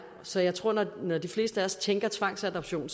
så jeg tror at når de fleste af os tænker tvangsadoption